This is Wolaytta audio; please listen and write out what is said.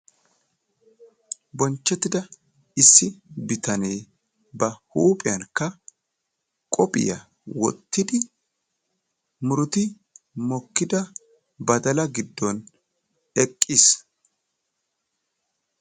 Bonchchettida issi bitanee ba huuphiyankka qophiya wottidi muruti mokkida badala giddon eqqiis.